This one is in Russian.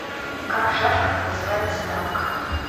как в шашках называется дамка